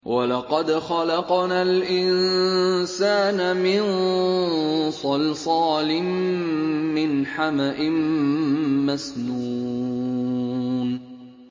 وَلَقَدْ خَلَقْنَا الْإِنسَانَ مِن صَلْصَالٍ مِّنْ حَمَإٍ مَّسْنُونٍ